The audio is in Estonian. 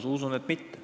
Ma usun, et mitte.